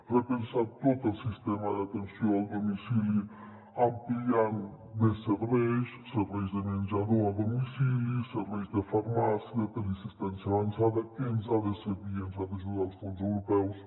repensar tot el sistema d’atenció al domicili ampliant·ne més serveis serveis de menjador a domicili serveis de farmàcia de teleassistència avançada que ens hi han de servir i ens hi han d’ajudar els fons europeus